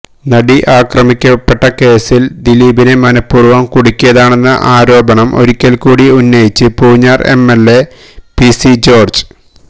നടി ആക്രമിക്കപ്പെട്ട കേസില് ദിലീപിനെ മനഃപൂര്വം കുടിക്കിയതാണെന്ന ആരോപണം ഒരിക്കല് കൂടി ഉന്നയിച്ച് പൂഞ്ഞാര് എംഎല്എ പിസി ജോര്ജ്